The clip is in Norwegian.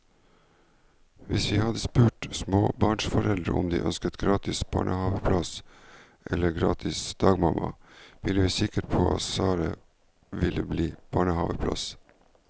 Hvis vi hadde spurt småbarnsforeldre om de ønsker gratis barnehaveplass eller gratis dagmamma, er vi sikre på at svaret ville bli barnehaveplass.